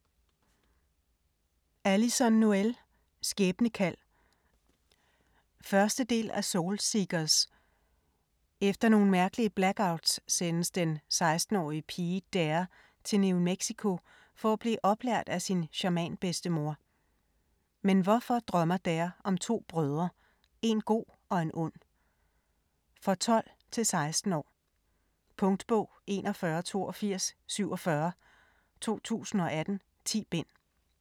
Noël, Alyson: Skæbnekald 1. del af Soul Seekers. Efter nogle mærkelige blackouts sendes den 16-årige pige Daire til New Mexico for at blive oplært af sin shamanbedstemor. Men hvorfor drømmer Daire om to brødre - en god og en ond? For 12-16 år. Punktbog 418247 2018. 10 bind.